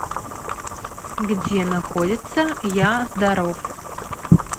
где находится я здоров